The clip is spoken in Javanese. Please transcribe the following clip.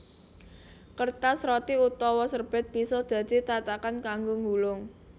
Kertas roti utawa serbèt bisa dadi tatakan kanggo nggulung